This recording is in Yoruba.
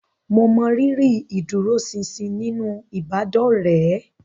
Mo mọrírì ìdúróṣinṣin nínú ìbádọ́rẹ̀ẹ́